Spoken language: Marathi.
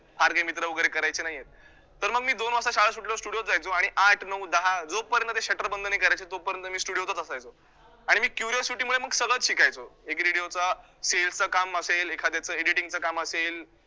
फार काही मित्र वैगरे मित्र करायचे नाहीयेत, तर मग मी दोन वाजता शाळा सुटल्यावर studio त जायचो आणि आठ, नऊ, दहा जोपर्यंत ते shutter बंद नाही करायचे तोपर्यंत मी studio तच असायचो आणि मी curiosity मुळे मग सगळचं शिकायचो एक radio च sell काम असेल एखाद्याचं editing च काम असेल